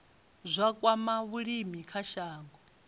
zwa kwama vhulimi kha shango